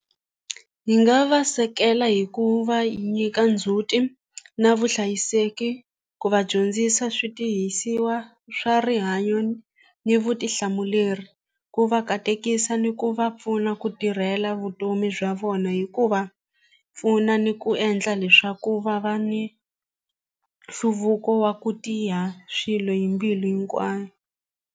Hi nga va hi ku va nyika ndzhuti na vuhlayiseki ku va dyondzisa switirhisiwa swa rihanyo ni vutihlamuleri ku va katekisa ni ku va pfuna ku tirhela vutomi bya vona hi ku va pfuna ni ku endla leswaku va va ni nhluvuko wa ku tiya swilo hi mbilu hinkwayo.